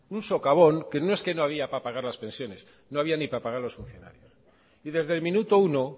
un socavón que no es que no había para pagar las pensiones no había ni para pagar a los funcionarios y desde el minuto uno